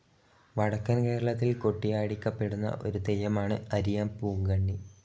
വടക്കൻ കേരളത്തിൽ കൊട്ടിയാടിക്കപ്പെടുന്ന ഒരു തെയ്യമാണ് അരിയപ്പൂങ്കണ്ണി.